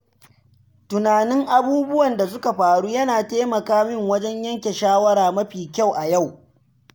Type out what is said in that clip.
Tunanin abubuwan da suka faru yana taimaka min wajen yanke shawara mafi kyau a yau.